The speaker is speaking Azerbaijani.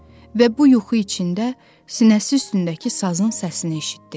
Və bu yuxu içində sinəsi üstündəki sazın səsini eşitdi.